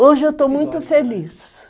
Hoje eu estou muito feliz.